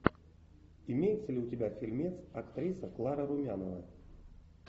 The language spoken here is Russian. имеется ли у тебя фильмец актриса клара румянова